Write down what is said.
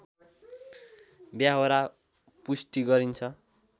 व्यहोरा पुष्टि गरिन्छ